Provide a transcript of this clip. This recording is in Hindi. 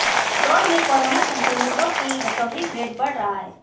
इंदौर में कोरोना संक्रमितों की रिकवरी रेट बढ़ रहा है